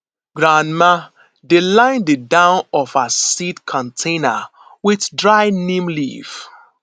grandma dey line the down of her seed container with dry neem leaf